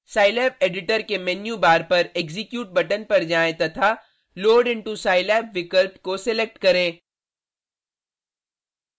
scilab editor के menu bar पर execute button पर जाएँ तथा load into scilab विकल्प को सेलेक्ट करें